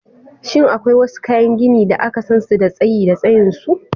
Shin akwai wasu kayan gini da aka san su da tsayi da tsayin su?